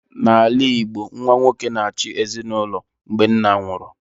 N'ala Igbo, nwa nwoke na-achị ezinụlọ mgbe nna nwụrụ